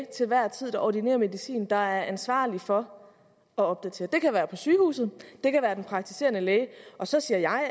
til enhver tid ordinerer medicinen der er ansvarlig for at opdatere det kan være på sygehuset det kan være den praktiserende læge så siger jeg og